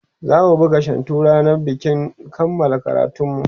zamu buga shantu rannan bikin kanmala karatunmu